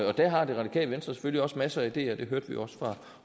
og der har det radikale venstre selvfølgelig også masser af ideer det hørte vi jo også fra